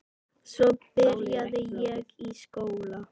Svo byrjaði ég í skóla.